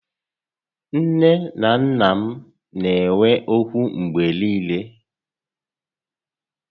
Nné na nnà m na enwe ókwú mgbé niile